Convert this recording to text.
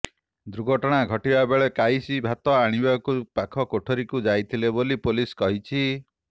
ଦୁର୍ଘଟନା ଘଟିବା ବେଳେ କାଇସି ଭାତ ଆଣିବାକୁ ପାଖ କୋଠରିକୁ ଯାଇଥିଲେ ବୋଲି ପୁଲିସ କହିଛି